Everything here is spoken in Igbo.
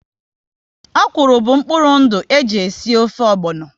Ọ̀kwụ́rụ́ bụ mkpụrụ ndụ e ji esi ofe ogbono